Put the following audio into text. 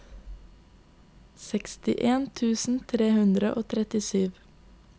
sekstien tusen tre hundre og trettisju